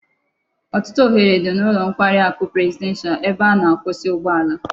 Otutu ohere di n'ulo nkwari aku presidential ebe a na-akwusa ugbo ala